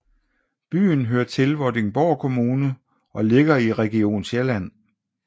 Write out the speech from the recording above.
Byen hører til Vordingborg Kommune og ligger i Region Sjælland